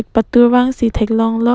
patur vang si thek long lok.